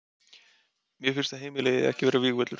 Mér finnst að heimilið eigi ekki að vera vígvöllur.